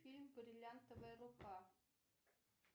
фильм бриллиантовая рука